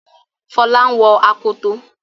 Fola ń wò Akoto.